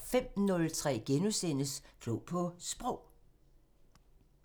05:03: Klog på Sprog *